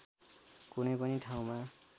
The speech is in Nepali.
कुनै पनि ठाउँमा